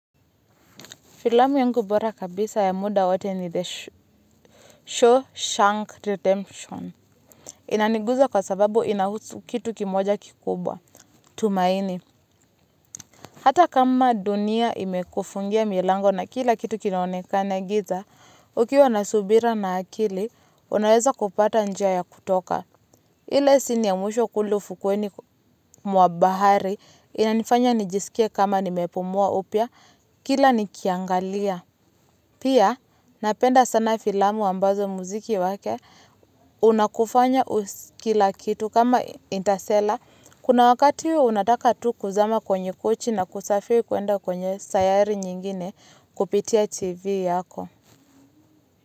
Filamu yangu bora kabisa ya muda wote ni The Shawshank Redemption. Inaniguza kwa sababu inahusu kitu kimoja kikubwa. Tumaini. Hata kama dunia imekufungia milango na kila kitu kinaonekana giza, ukiwa nasubira na akili, unaweza kupata njia ya kutoka. Ile sini ya mwisho kule ufukweni mwabahari, inanifanya nijisikie kama nimepumua upya, kila nikiangalia. Pia napenda sana filamu ambazo muziki wake unakufanya kila kitu kama intasela. Kuna wakati unataka tu kuzama kwenye kochi na kusafiri kuenda kwenye sayari nyingine kupitia tv yako.